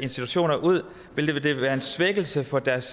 institutioner ud vil være en svækkelse for deres